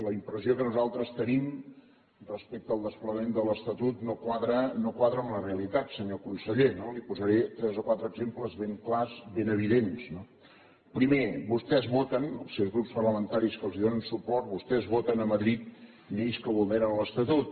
la impressió que nosaltres tenim respecte al desplegament de l’estatut no quadra amb la realitat senyor conseller no li’n posaré tres o quatre exemples ben clars ben evidents no primer vostès voten els seus grups parlamentaris que els donen suport vostès voten a madrid lleis que vulneren l’estatut